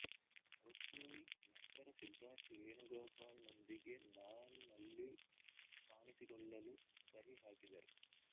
ರುಕ್ಮಿಣಿ ನಂತರ ಸಿದ್ಧಾರ್ಥ್ ವೇಣುಗೋಪಾಲ್ನೊಂದಿಗೆ ನಾನ್ ನಲ್ಲಿ ಕಾಣಿಸಿಕೊಳ್ಳಲು ಸಹಿ ಹಾಕಿದಳು